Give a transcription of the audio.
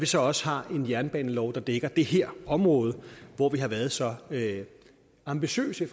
så også har en jernbanelov der dækker det her område hvor vi har været så ambitiøse i